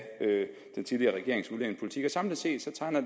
af den tidligere regerings udlændingepolitik samlet set tegner